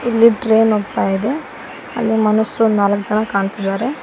ಇಲ್ಲಿ ಟ್ರೈನ್ ಹೋಗ್ತಾ ಇದೆ ಅಲ್ಲಿ ಮನುಷ್ಯರು ನಾಲ್ಕ ಜನ ಕಾಣ್ತಿದಾರೆ.